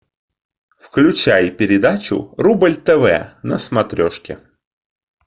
включай передачу рубль тв на смотрешке